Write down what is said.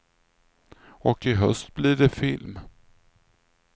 Och i höst blir det film.